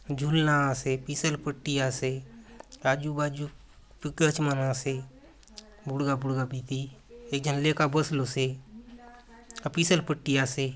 झूलना आसे फिसल पट्टी आसे आजु बाजु मन आसे बुड़गा - बुड़गा बीती एक झन लेका बसलो से आउर फिसल पट्टी आसे।